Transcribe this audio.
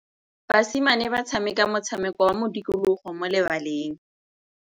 Basimane ba tshameka motshameko wa modikologô mo lebaleng.